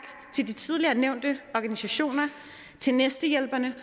til de tidligere nævnte organisationer til næstehjælperne